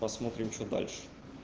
посмотрим что дальше